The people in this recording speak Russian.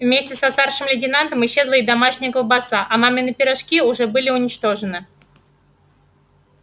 вместе со старшим лейтенантом исчезла и домашняя колбаса а мамины пирожки уже были уничтожены